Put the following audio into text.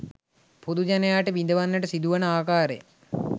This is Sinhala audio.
පොදු ජනයාට විඳවන්නට සිදුවන ආකාරය